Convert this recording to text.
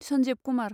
Sanjib Kumar